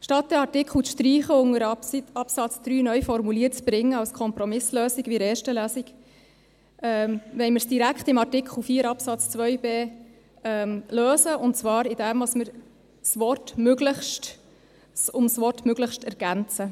Statt den Artikel zu streichen und unter Absatz 3 neu formuliert zu bringen, als Kompromisslösung, wie in der ersten Lesung, wollen wir es direkt in Artikel 4 Absatz 2 Buchstabe b lösen, und zwar, indem wir eine Ergänzung um das Wort «möglichst» vornehmen.